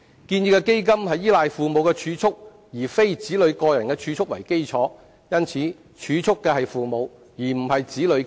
建議的基金是依賴父母儲蓄而非子女個人儲蓄為基礎，故儲蓄的是父母，而非子女本人。